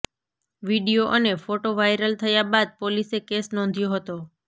video અને photo viral થયા બાદ પોલીસે કેસ નોંધ્યો હતો